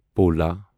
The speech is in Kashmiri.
پولا